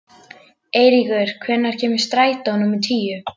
Eiríkur, hvenær kemur strætó númer tíu?